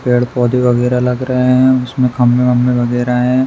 पेड़-पौधे वगैरह लग रहे हैं। उसमे खम्भे-वम्भे वगैरह हैं।